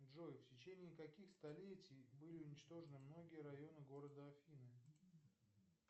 джой в течении каких столетий были уничтожены многие районы города афины